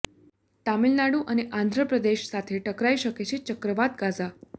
તમિલનાડુ અને આંધ્રપ્રદેશ સાથે ટકરાઇ શકે છે ચક્રવાત ગાઝા